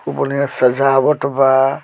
खुब बढ़िया सजावट बा।